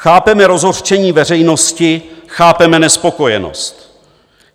Chápeme rozhořčení veřejnosti, chápeme nespokojenost.